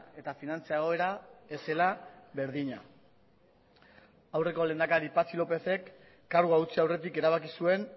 eta finantza egoera ez zela berdina aurreko lehendakaria patxi lópezek kargua utzi aurretik erabaki zuen